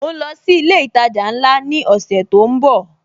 Mo ń lọ sí ilé ìtajà ńlá ni ọ̀sẹ̀ tó ń bò